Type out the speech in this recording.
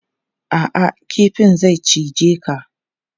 A'a, kifin zai cije ka.